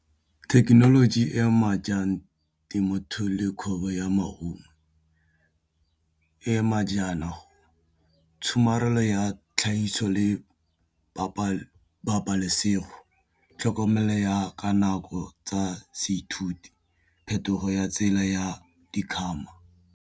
Thekenoloji e ma ja jang temothuo le kgwebo ya maungo e ama jana tshomarelo ya tlhagiso le pabalesego tlhokomelo ya ka nako tsa seithuti phetogo ya tsela ya di kgama.